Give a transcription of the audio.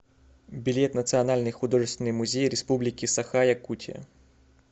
билет национальный художественный музей республики саха якутия